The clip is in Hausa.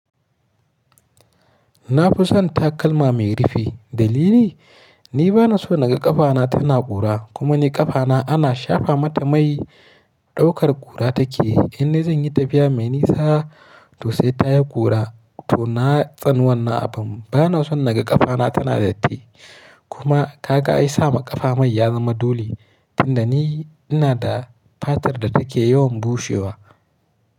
Na fi son takalma mai rufe. Dalili? Ni ba na so naga ƙafana tana ƙura. Kuma ni ƙafana ana shafa mata mai ɗaukar ƙura take. In ni zan yi tafiya mai nisa to sai ta yi ƙura to na tsani wanna abin. Ba na son naga ƙafana tana datti. Kuma kaga ai sa ma ƙafa mai ya zama doli tunda ni ina da fatar da take yawan bushewa.